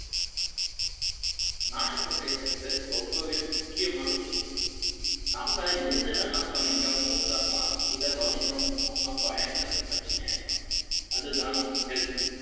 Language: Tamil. நான் இப்ப பேசிட்டு ரொம்ப வே முக்கியமான விஷயம் நம்ம எத வேணா கவனிக்காம விட்டரலாம் இதை கவனிக்காம விட்டோம்னா பயங்கர பிரச்சனை ஆயிடும் அது தான் சிக்கல்.